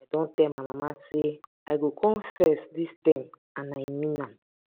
i don tell my mama say i go come first dis term and i mean am